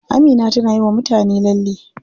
Amina tana yiwa mutane lalle.